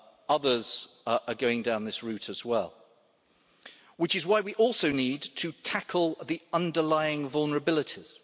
Others are going down this route as well, which is why we also need to tackle the underlying vulnerabilities.